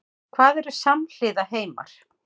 Hvað eru samhliða heimar?